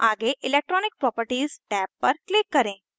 आगे electronic properties tab पर click करें